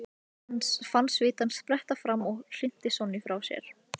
Hann fann svitann spretta fram og hrinti Sonju frá sér.